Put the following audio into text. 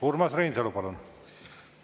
Urmas Reinsalu, palun!